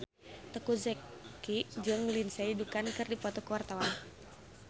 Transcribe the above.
Teuku Zacky jeung Lindsay Ducan keur dipoto ku wartawan